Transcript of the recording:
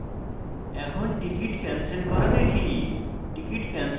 এখন ticket cancel করা দেখি